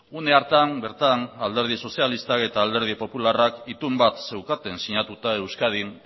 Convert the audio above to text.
une hartan bertan alderdi sozialistak eta alderdi popularrak itun bat zeukaten sinatuta euskadin